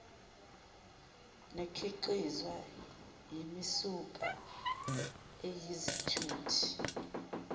nekhiqizwa yimisuka eyizithuthi